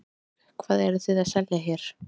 Erla Björg: Hvað eruð þið að selja hér?